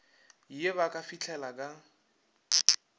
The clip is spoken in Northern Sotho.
ye ba ka fahlela ka